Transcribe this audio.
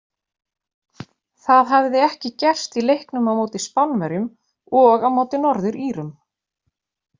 Það hafði ekki gerst í leiknum á móti Spánverjum og á móti Norður Írum.